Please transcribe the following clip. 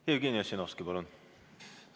Jevgeni Ossinovski, palun!